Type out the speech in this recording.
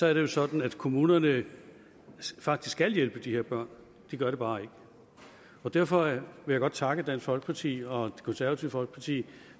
er det sådan at kommunerne faktisk skal hjælpe de her børn de gør det bare ikke derfor vil jeg godt takke dansk folkeparti og konservative folkeparti